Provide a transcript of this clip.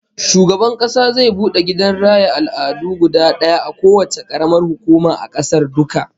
Shugaban Kasa zai bude gidan raya al'adu guda daya a kowacce karamar hukuma a kasar duka